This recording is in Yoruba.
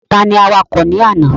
Ta ni awakọ̀ ní àná?